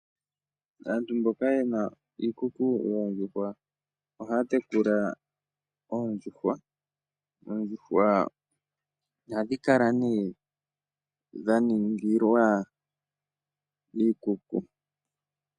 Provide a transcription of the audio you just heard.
Aantu mboka ye na iikuku yoondjuhwa ohaya tekula oondjuhwa. Oondjuhwa ohadhi kala dha ningilwa iikuku.